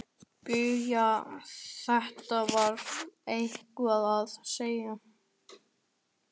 BAUJA: Þetta var einhver að segja.